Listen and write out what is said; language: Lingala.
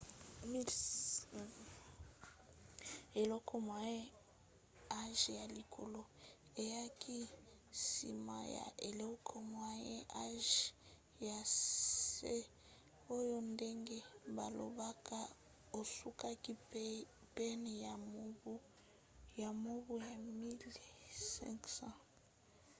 eleko moyen âge ya likolo eyaki nsima ya eleko moyen âge ya se oyo ndenge balobaka esukaki pene ya mobu 1500